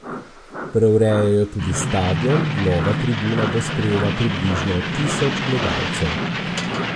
Preurejajo tudi stadion, nova tribuna bo sprejela približno tisoč gledalcev.